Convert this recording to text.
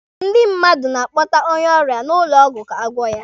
Ndị mmadụ na-akpọta onye ọrịa n'ụlọ ọgwụ ka a gwọ ya.